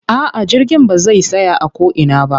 A'a jirgin ba zai tsaya a ko ina ba.